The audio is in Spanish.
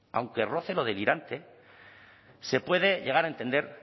aunque roce lo delirante se puede llegar a entender